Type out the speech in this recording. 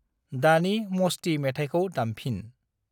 दानि मस्ति मेथायखौ दामफिन।